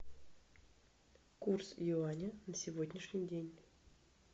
курс юаня на сегодняшний день